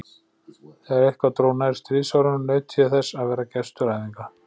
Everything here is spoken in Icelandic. Þegar eitthvað dró nær stríðsárum, naut ég þess að vera gestur æfinga